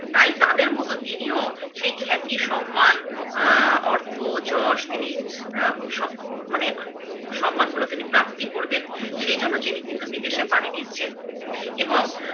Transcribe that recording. তাই তাদের মতো তিনি ও সেই খ্যাতি, সন্মান অ্যা অর্থ, যশ তিনি অ্যা স মানে সন্মান গুলো তিনি প্রাপ্তি করবেন, সেই জন্য তিনি কিন্তু বিদেশে পারি দিচ্ছেন এবং